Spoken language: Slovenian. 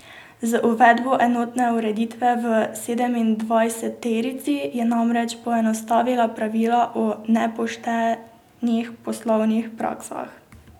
Z uvedbo enotne ureditve v sedemindvajseterici je namreč poenostavila pravila o nepoštenih poslovnih praksah.